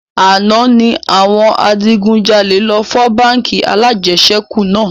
Àná ni àwọn adigun jalè lọ fọ́ báńkì alajẹsẹ́kù náà